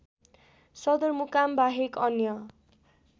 सदरमुकाम बाहेक अन्य